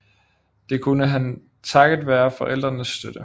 Det kunne han takket være forældrenes støtte